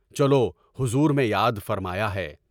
چلو حضور میں یاد فرمایا ہے۔